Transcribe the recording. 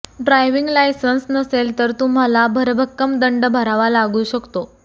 driving licence नसेल तर तुम्हाला भरभक्कम दंड भरावा लागू शकतो